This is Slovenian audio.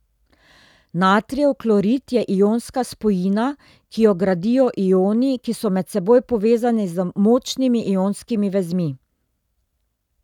Natrijev klorid je ionska spojina, ki jo gradijo ioni, ki so med seboj povezani z močnimi ionskimi vezmi.